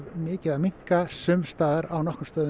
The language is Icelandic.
mikið að minnka sums staðar á nokkrum stöðum